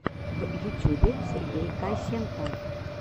в ютюбе сергей косенко